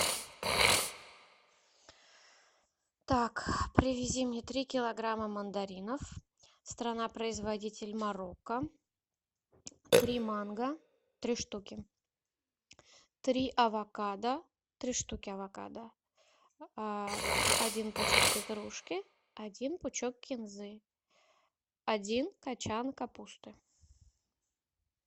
так привези мне три килограмма мандаринов страна производитель марокко три манго три штуки три авокадо три штуки авокадо один пучок петрушки один пучок кинзы один качан капусты